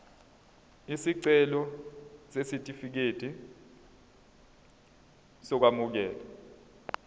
isicelo sesitifikedi sokwamukeleka